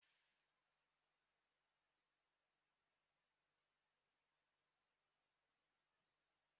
I ma metụ waya gba ọtọ aka ma ọ bụrụ na ọkụ eletrik dị.